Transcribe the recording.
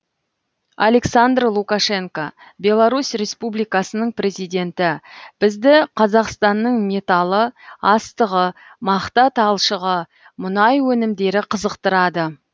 александр лукашенко беларусь республикасының президенті бізді қазақстанның металы астығы мақта талшығы мұнай өнімдері қызықтырады